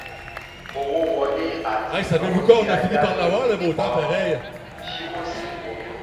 owó wọlé àti ináwó tí a yá lò um ṣòwò sí òdo.